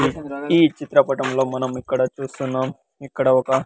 ఈ చిత్రపటంలో మనం ఇక్కడ చూస్తున్నాం ఇక్కడ ఒక.